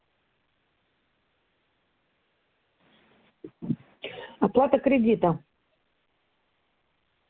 оплата кредита